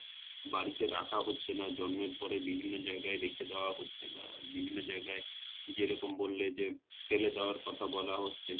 বাড়িতে রাখা হচ্ছে না জন্মের পর ই বিভিন্ন যায়গায় রেখে দেওয়া হচ্ছে বা বিভিন্ন যায়গায় যেরকম বললে যে, ফেলে দেওয়ার কথা বলা হচ্ছে!